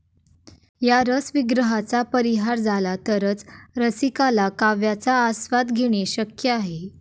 या रसविग्रहाचा परिहार झाला तरच रसिकाला काव्याचा आस्वाद घेणे शक्य आहे.